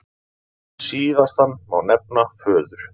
Síðastan má nefna föður